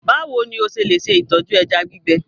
Báwo ni o ṣe lè tọ́jú ẹja gbígbẹ?